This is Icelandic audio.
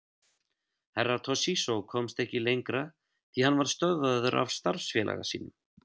Herra Toshizo komst ekki lengra því hann var stöðvaður af starfsfélaga sínum.